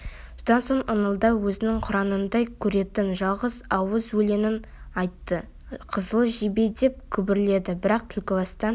содан соң ыңылдап өзінің құранындай көретін жалғыз ауыз өлеңін айтты қызыл жебе деп күбірледі бірақ түлкібастан